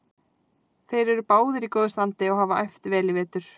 Þeir eru báðir í góðu standi og hafa æft vel í vetur.